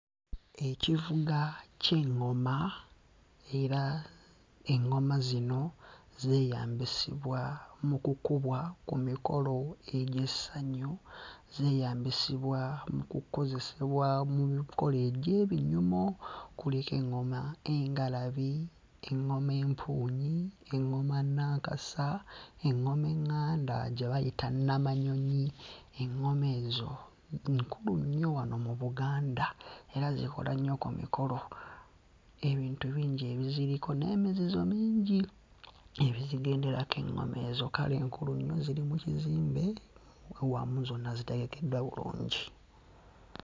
Ekivuga ky'eŋŋoma era eŋŋoma zino zeeyambisibwa mu kukubwa ku mikolo egy'essanyu, zeeyambisibwa mu kukozesebwa mu mikolo egy'ebinyumo, kuliko eŋŋoma engalabi, eŋŋoma empuunyi, eŋŋoma Nnankasa, eŋŋoma eŋŋanda gye bayita Nnamanyonyi, eŋŋoma ezo nkulu nnyo wano mu Buganda era zikola nnyo ku mikolo, ebintu bingi ebiziriko n'emizizo mingi ebizigenderako eŋŋoma ezo, kale nkulu nnyo ziri mu kizimbe wamu zonna zitegekeddwa bulungi.